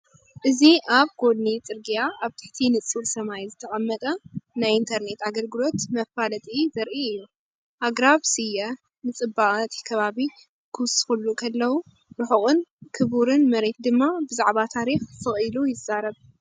እዚ ኣብ ጐድኒ ጽርግያ ኣብ ትሕቲ ንጹር ሰማይ ዝተቐመጠ ናይ ኢንተርነት ኣገልግሎት መፈላጢ ዘርኢ እዩ። ኣግራብ ስየ ንጽባቐ እቲ ከባቢ ክውስኹሉ ከለዉ፡ ርሑቕን ክቡርን መሬት ድማ ብዛዕባ ታሪኽ ስቕ ኢሉ ይዛረብ።